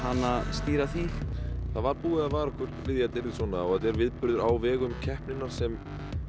stýra því það var búið að vara okkur við þetta yrði svona og þetta er viðburður á vegum keppninnar sem